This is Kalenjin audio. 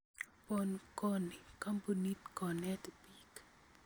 PonKoni koombunit konet biik